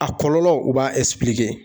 A kɔlɔlɔ u b'a